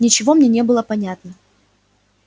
ничего мне не было понятно